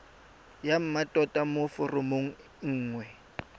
ya mmatota mo foromong nngwe